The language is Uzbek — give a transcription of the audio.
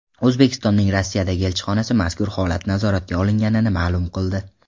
O‘zbekistonning Rossiyadagi elchixonasi mazkur holat nazoratga olinganini ma’lum qildi .